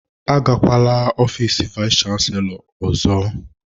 Agakwala ofiis vayis chansilọ ọzọ!